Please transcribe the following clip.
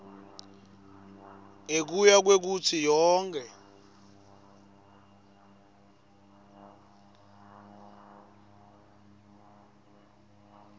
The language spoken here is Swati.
ngekuya kwekutsi yonkhe